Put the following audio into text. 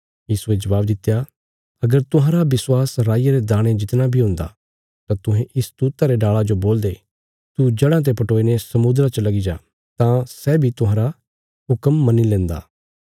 यीशुये जबाब दित्या अगर तुहांरा विश्वास राईया रे दाणे जितना बी हुन्दा तां तुहें इस तूत्ता रे डाल़ा जो बोलदे तू जड़ां ते पटोईने समुद्रा च लगी जा तां सै बी तुहांरा हुक्म मन्नी लेंदा